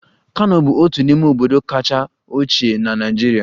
Kano bụ otu n'ime obodo kacha ochie na Naịjirịa